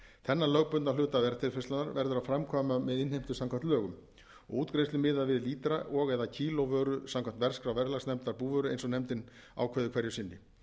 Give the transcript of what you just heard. þennan lögbundna hluta verðtilfærslunnar verður að framkvæma með innheimtu samkvæmt lögum og útgreiðslu miðað við lítra og eða kíló vöru samkvæmt verðskrá verðlagsnefndar búvöru eins og nefndin ákveður hverju sinni